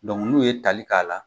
n'u ye tali k'a la.